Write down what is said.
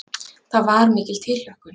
Það var mikil tilhlökkun.